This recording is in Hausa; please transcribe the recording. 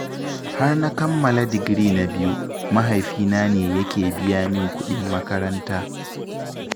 Har na kammala digiri na biyu, mahaifi na ne yake biya min kuɗin makaranta.